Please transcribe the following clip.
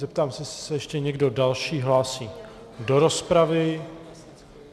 Zeptám se, jestli se ještě někdo další hlásí do rozpravy.